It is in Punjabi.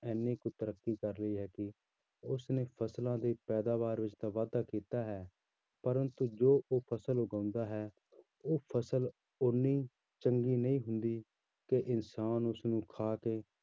ਇੰਨੀ ਕੁ ਤਰੱਕੀ ਕਰ ਲਈ ਹੈ ਕਿ ਉਸ ਨੇ ਫ਼ਸਲਾਂ ਦੀ ਪੈਦਾਵਾਰ ਵਿੱਚ ਤਾਂ ਵਾਧਾ ਕੀਤਾ ਹੈ ਪਰੰਤੂ ਜੋ ਉਹ ਫ਼ਸਲ ਉਗਾਉਂਦਾ ਹੈ ਉਹ ਫ਼ਸਲ ਉੱਨੀ ਚੰਗੀ ਨਹੀਂ ਹੁੰਦੀ ਕਿ ਇਨਸਾਨ ਉਸਨੂੰ ਖਾ ਕੇ